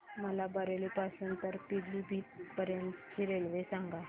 मला बरेली पासून तर पीलीभीत पर्यंत ची रेल्वे सांगा